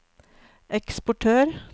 eksportør